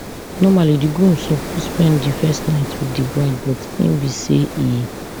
normally di groom suppose spend di first night wit di bride but e bin say e